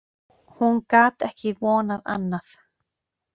Hún gat ekki vonað annað.